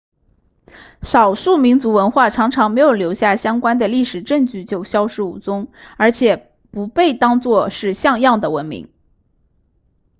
少数民族文化常常没有留下相关的历史证据就消失无踪而且不被当做是像样的文明